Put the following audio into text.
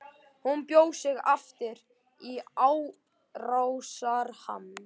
Hún bjó sig aftur í árásarham.